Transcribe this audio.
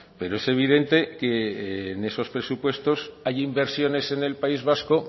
pero es evidente que en esos presupuestos hay inversiones en el país vasco